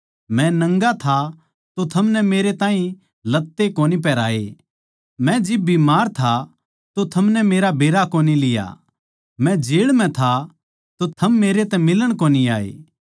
मै नंगा था अर थमनै मेरै ताहीं लत्ते कोनी पिहराए मै बीमार था अर थमनै मेरा बेरा कोनी लिया मै जेळ म्ह था अर थम मेरै तै फेटण कोनी आये